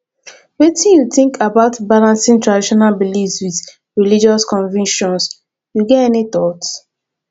wetin you think about balancing traditional beliefs with religious convictions you get any thought